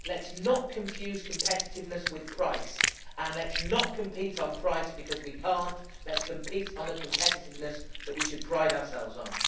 Let us not confuse competitiveness with price, and let us not compete on price, because we cannot. Let us compete on the competitiveness that we should pride ourselves on.